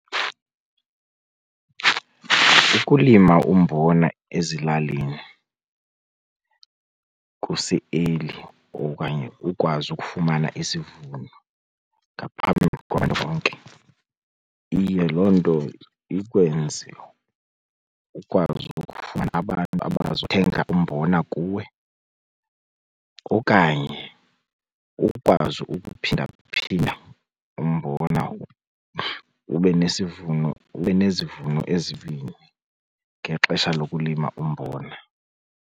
Ukulima umbona ezilalini kuse-early okanye ukwazi ukufumana isivuno ngaphambi kwabantu bonke iye loo nto ikwenze ukwazi ukufuna abantu abazothenga umbona kuwe okanye ukwazi ukuphindaphinda umbona ube nesivuno, ube nezivuno ezimbini ngexesha lokulima umbona.